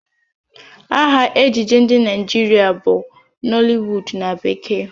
Aha ejije ndị Naịjirịa bụ Nollywood na bekee